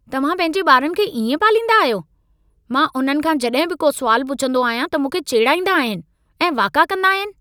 तव्हां पंहिंजे ॿारनि खे इएं पालींदा आहियो? मां उन्हनि खां जॾहिं बि को सुवालु पुछंदो आहियां त मूंखे चेड़ाईंदा आहिनि ऐं वाका कंदा आहिनि।